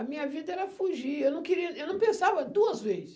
A minha vida era fugir, eu não queria, eu não pensava duas vezes.